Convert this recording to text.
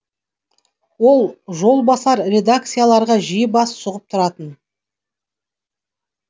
ол жолбасар редакцияларға жиі бас сұғып тұратын